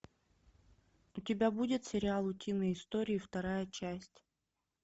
у тебя будет сериал утиные истории вторая часть